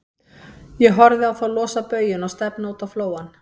Ég horfði á þá losa baujuna og stefna út á flóann.